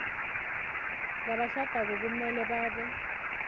labashadako kumele babe